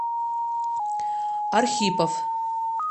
архипов